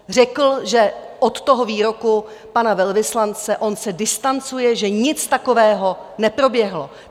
Řekl, že od toho výroku pana velvyslance on se distancuje, že nic takového neproběhlo.